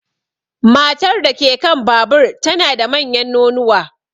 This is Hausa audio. Matar da ke kan babur tana da manyan nonuwa.